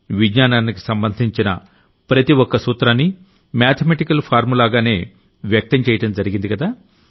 విజ్ఞానానికి సంబంధించిన ప్రతి ఒక్క సూత్రాన్నీ మేథమెటికల్ ఫార్ములాగానే వ్యక్తం చెయ్యడం జరిగిందికదా